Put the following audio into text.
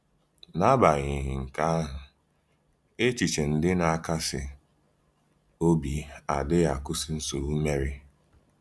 N’agbanyeghị nke ahụ, echiche ndị na-akasi obi adịghị akwụsị nsogbu Meri.